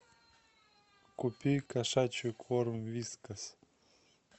купи кошачий корм вискас